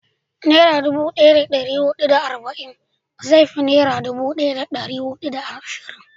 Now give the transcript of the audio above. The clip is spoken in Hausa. Nera dubu daya da dari hudu da arba'in zai fi naira dubu daya da dari hudu da ashirin